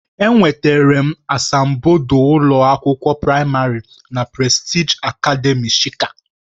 Enwetara m asambodo ụlọ akwụkwọ praịmarị na Prestigị akademị shika.